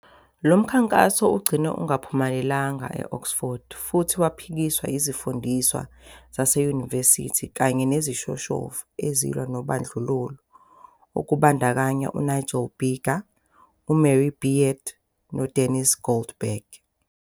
"Lo mkhankaso ugcine ungaphumelelanga e-Oxford, futhi waphikiswa izifundiswa zaseyunivesithi kanye nezishoshovu ezilwa nobandlululo okubandakanya uNigel Biggar, uMary Beard noDenis Goldberg.